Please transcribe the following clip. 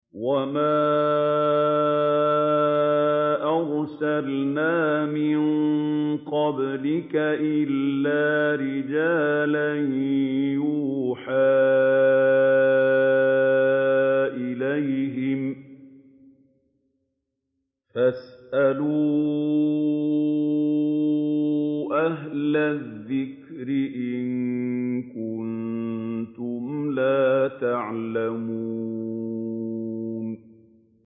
وَمَا أَرْسَلْنَا مِن قَبْلِكَ إِلَّا رِجَالًا نُّوحِي إِلَيْهِمْ ۚ فَاسْأَلُوا أَهْلَ الذِّكْرِ إِن كُنتُمْ لَا تَعْلَمُونَ